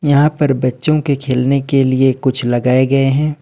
यहां पर बच्चों के खेलने के लिए कुछ लगाए गए हैं।